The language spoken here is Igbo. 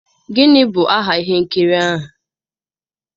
Gịnị bụ aha ihe nkiri ahụ?